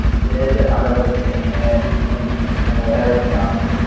તેજ આગળ વધશે અને એને હું વધારે ગુણ આપીશ